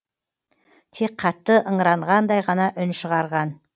тек қатты ыңыранғандай ғана үн шығарған